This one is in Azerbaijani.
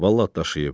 Vallah daşıyıb.